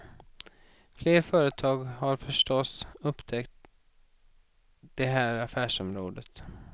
Fler företag har förstås upptäckt det här affärsområdet.